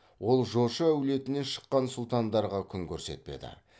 ол жошы әулетінен шыққан сұлтандарға күн көрсетпеді